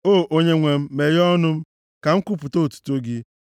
O, Onyenwe m, meghee ọnụ m, ka m kwupụta otuto gị.